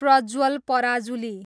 Prajwal Parajuli